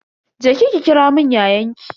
Je ki ki kiramun yayanki.